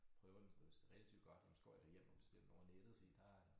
Prøver det hvis det relativt godt jamen så går jeg da hjem og bestiller over nettet fordi der er